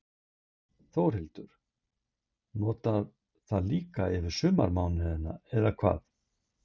Þórhildur: Þú notar það líka yfir sumarmánuðina, eða hvað?